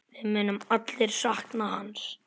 Við munum allir sakna hans.